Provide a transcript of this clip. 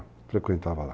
Frequentava lá.